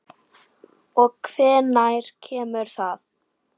Og hvenær kemur það?